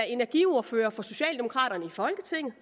energiordfører for socialdemokraterne i folketinget